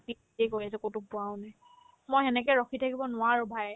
কিবাকিবি কৰি আছে ক'তো পোৱাও নাই মই সেনেকে ৰখি থাকিব নোৱাৰো bhai